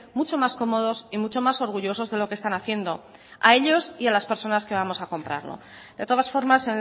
mucho más cómodos y muchos más orgullosos de lo que están haciendo a ellos y a las personas que vamos a comprarla de todas formas